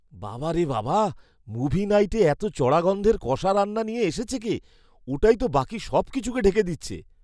বাবা রে বাবা, মুভি নাইটে এত চড়া গন্ধের কষা রান্না নিয়ে এসেছে কে? ওটাই তো বাকি সবকিছুকে ঢেকে দিচ্ছে।